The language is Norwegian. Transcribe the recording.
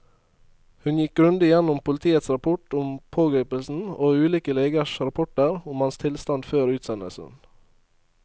Hun gikk grundig gjennom politiets rapport om pågripelsen og ulike legers rapporter om hans tilstand før utsendelsen.